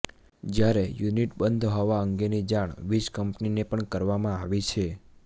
જ્યારે યુનિટ બંધ હોવા અંગેની જાણ વીજકંપનીને પણ કરવામાં આવી છે